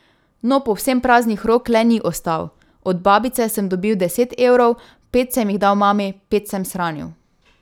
No povsem praznih rok le ni ostal: 'Od babice sem dobil deset evrov, pet sem jih dal mami, pet sem shranil.